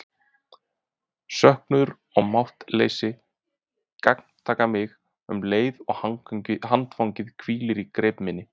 Söknuður og máttleysi gagntaka mig um leið og handfangið hvílir í greip minni.